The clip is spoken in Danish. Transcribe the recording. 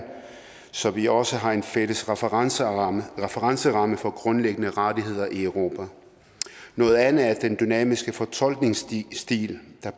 så vi også har en fælles referenceramme referenceramme for grundlæggende rettigheder i europa noget andet er den dynamiske fortolkningsstil der